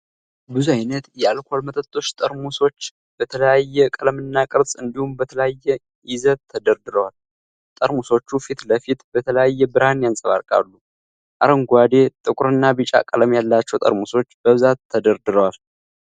ብዙ አይነት የአልኮል መጠጥ ጠርሙሶች በተለያየ ቀለምና ቅርጽ እንዲሁም በተለያየ ይዘት ተደርድረዋል። ጠርሙሶቹ ፊት ለፊት በተለየ ብርሃን ያንጸባርቃሉ። አረንጓዴ ፣ ጥቁርና ቢጫ ቀለም ያላቸው ጠርሙሶች በብዛት ተደርድረዋል።